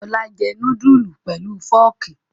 Ọlá jẹ núdúlù pelu fọ́ọ́kì.